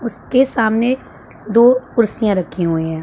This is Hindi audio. उसके सामने दो कुर्सियां रखी हुई है।